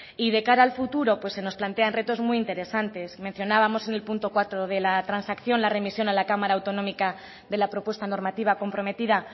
y de cara al futuro pues se nos plantean retos muy interesantes mencionábamos en el punto cuatro de la transacción la remisión a la cámara autonómica de la propuesta normativa comprometida